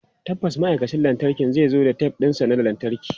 Tabbas ma'aikacin lantarkin zai zo da tef ɗinsa na lantarki.